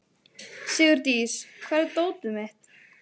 Sigurdís, hvar er dótið mitt?